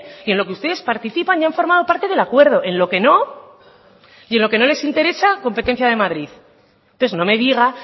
y en lo que ustedes participan y han formado parte del acuerdo en lo que no y en lo que no les interesa competencia de madrid entonces no me diga